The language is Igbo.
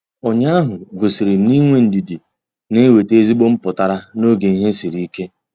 Ụnyaahụ gosirim na-inwe ndidi na-enweta ezigbo mputara n'oge ihe sịrị ike.